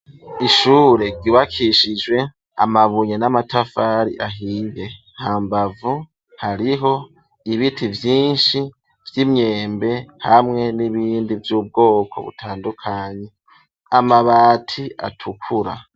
Ishure ryubakishijwe Amabuye n'amatafari ahiye ,ha mbavu hariho ibiti vyinshi vy'imyembe, hamwe n'ibindi vy'ubwoko butandukanye ,Amabati atukura.